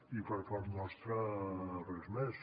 i per part nostra res més